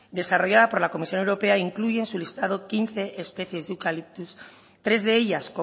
desarrollada por la comisión europea incluye en su listado quince especies de eucaliptus tres de ellas